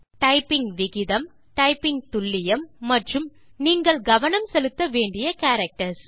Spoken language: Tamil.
டைப்பிங் விகிதம் டைப்பிங் துல்லியம் மற்றும் நீங்கள் கவனம் செலுத்த வேண்டிய கேரக்டர்ஸ்